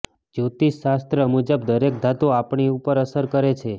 જ્યોતિષ શાસ્ત્ર મુજબ દરેક ધાતુ આપણી ઉપર અસર કરે છે